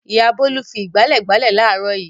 Ìyá Bólú fi ìgbálẹ̀ gbálẹ̀ láàárọ̀ yìí.